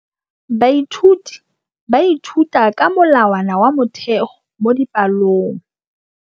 Baithuti ba ithuta ka molawana wa motheo mo dipalong.